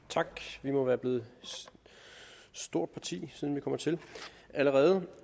tak vi må være blevet et stort parti siden vi kommer til allerede